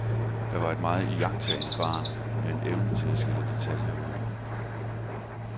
Jeg var et meget iagttagende barn, med en evne til at skille detaljer ud.